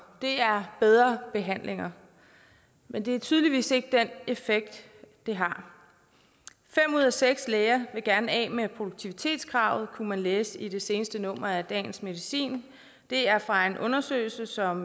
det er bedre behandlinger men det er tydeligvis ikke den effekt det har fem ud af seks læger vil gerne af med produktivitetskravet kunne man læse i det seneste nummer af dagens medicin det er fra en undersøgelse som